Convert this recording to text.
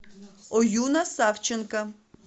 оюна савченко